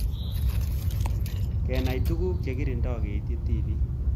Kenai tugul che kirindoi keitchi tipik